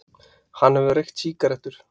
Hann hefur reykt sígarettur.